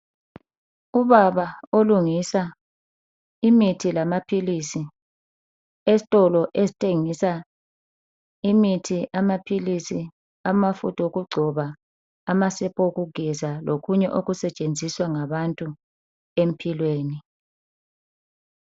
Ubaba olungisa imithi lamaphilisi esitolo esithengisa imithi amaphilisi amafutha okugcoba amasepa okugeza lokunye okusetshenziswa ngabantu empilweni.